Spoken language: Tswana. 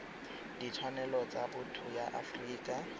ditshwanelo tsa botho ya aforika